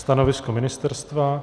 Stanovisko ministerstva?